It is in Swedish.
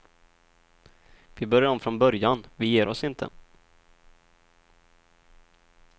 Vi börjar om från början, vi ger oss inte.